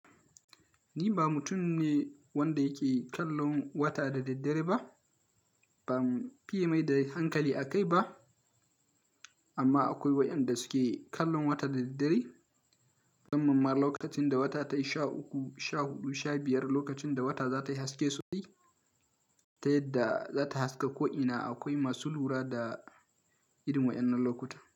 Ni ba mutum ne wanda yake kallon wata da daddere ba, ban fiye mai da hankali a kai ba. Amma akwai wa ƴanda suke kallon wata da daddare, musamman lokacin da wata tai sha uku, sha huɗu, sha biyar, lokacin da wata za ta yi haske sosai ta yadda za ta haska ko'ina. Akwai masu lura da irin wa ƴannan lokuta.